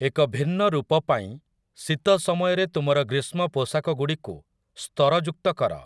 ଏକ ଭିନ୍ନ ରୂପ ପାଇଁ ଶୀତ ସମୟରେ ତୁମର ଗ୍ରୀଷ୍ମ ପୋଷାକଗୁଡ଼ିକୁ ସ୍ତରଯୁକ୍ତ କର ।